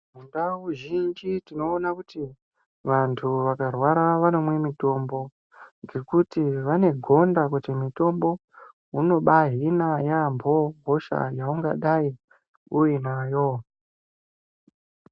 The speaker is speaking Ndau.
Mundau zhinji tinoona kuti vantu vakarwara vanomwa mitombo, ngekuti vane gonda kuti mitombo unobaa hina yaampho hosha yeungadai uinayo.